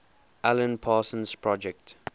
alan parsons project